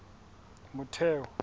motheo